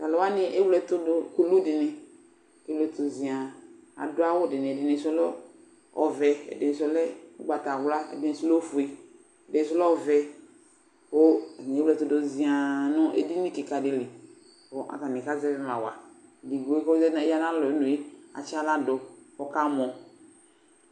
Tʋ alʋ wanɩ ewle ɛtʋ dʋ kulu dɩnɩ kʋ alɩɛtʋ zɩaŋ Adʋ awʋ dɩnɩ Ɛdɩnɩsʋ lɛ ɔvɛ, ɛdɩnɩsʋ lɛ ʋgbatawla, ɛdɩnɩsʋ lɛ ofue, ɛdɩnɩsʋ lɛ ɔvɛ kʋ atanɩ ewle ɛtʋ dʋ zɩaŋ nʋ edini kɩka dɩ li kʋ atanɩ kazɛvɩ ma wa Edigbo kʋ ɔz aya nʋ alɔ yɛ nu yɛ atsɩ aɣla dʋ kʋ ɔkamɔ